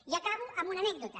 i acabo amb una anècdota